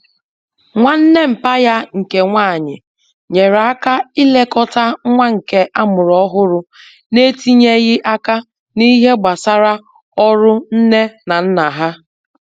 Nwanne mpa ya nke nwanyi nyere aka ilekota nwa nke amuru ohuru n'etinyeghi aka n'ihe gbasara oru Nne na Nna ha